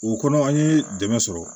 O kɔnɔ an ye dɛmɛ sɔrɔ